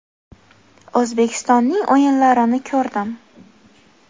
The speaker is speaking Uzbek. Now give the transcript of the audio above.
O‘zbekistonning o‘yinlarini ko‘rdim.